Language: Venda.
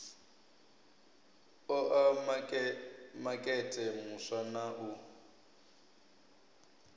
oa makete muswa na u